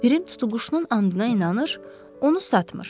Pirim tutuquşunun andına inanır, onu satmır.